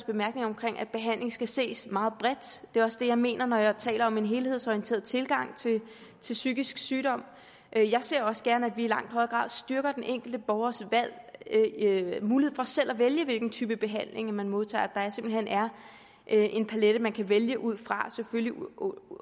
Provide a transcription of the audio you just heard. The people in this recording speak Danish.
bemærkning om at behandling skal ses meget bredt det er også det jeg mener når jeg taler om en helhedsorienteret tilgang til psykisk sygdom jeg ser også gerne at vi i langt højere grad styrker den enkelte borgers mulighed for selv at vælge hvilken type behandling man modtager at der simpelt hen er en palet man kan vælge ud fra selvfølgelig